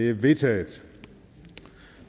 er vedtaget